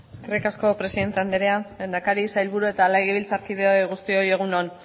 eskerrik asko presidente andrea lehendakari sailburu eta legebiltzarkide guztioi egun on